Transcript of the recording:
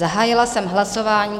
Zahájila jsem hlasování.